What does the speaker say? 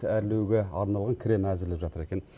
әрлеуге арналған крем әзірлеп жатыр екен